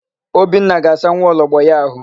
Obinna ga-asa nwaologbo ya àhụ́.